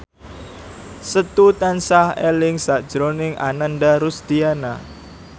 Setu tansah eling sakjroning Ananda Rusdiana